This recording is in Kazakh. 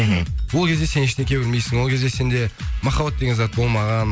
мхм ол кезде сен ештеңе білмейсің ол кезде сенде махаббат деген зат болмаған